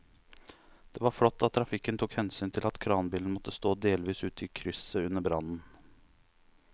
Det var flott at trafikken tok hensyn til at kranbilen måtte stå delvis ute i krysset under brannen.